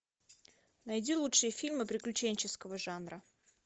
найди лучшие фильмы приключенческого жанра